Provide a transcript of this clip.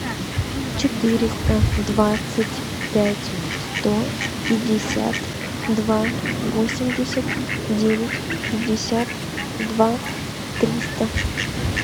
четыреста двадцать пять сто пятьдесят два восемьдесят девять пятьдесят два триста